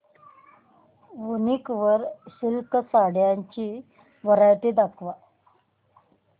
वूनिक वर सिल्क साड्यांची वरायटी दाखव